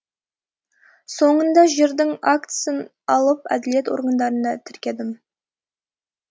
соңында жердің актісін алып әділет органдарында тіркедім